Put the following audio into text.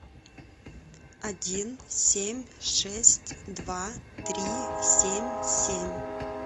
один семь шесть два три семь семь